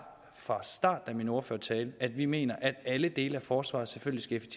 fra starten af min ordførertale at vi mener at alle dele af forsvaret selvfølgelig